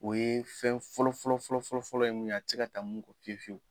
O ye fɛn fɔlɔ fɔlɔ fɔlɔ fɔlɔ fɔlɔ ye mun ye a te se ka taa mun kɔ fiye fiyewu